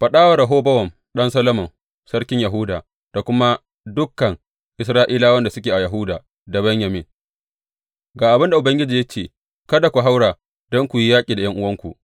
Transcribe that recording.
Faɗa wa Rehobowam ɗan Solomon sarkin Yahuda da kuma dukan Isra’ilawan da suke a Yahuda da Benyamin, Ga abin da Ubangiji ya ce kada ku haura don ku yi yaƙi da ’yan’uwanku.